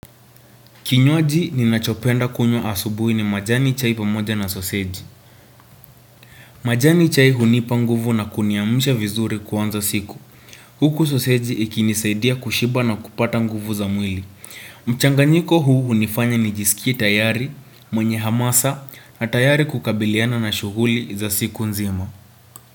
Kinywaji ninachopenda kunywa asubuhi ni majani chai pamoja na soseji. Majani chai hunipa nguvu na kuniamsha vizuri kuanza siku. Huku soseji ikinisaidia kushiba na kupata nguvu za mwili. Mchanganyiko huu hunifanya nijisikie tayari mwenye hamasa na tayari kukabiliana na shughuli za siku nzima.